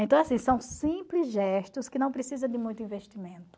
Então, assim, são simples gestos que não precisam de muito investimento.